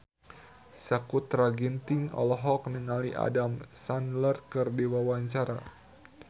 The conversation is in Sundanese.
Sakutra Ginting olohok ningali Adam Sandler keur diwawancara